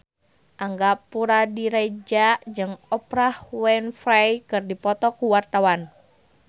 Angga Puradiredja jeung Oprah Winfrey keur dipoto ku wartawan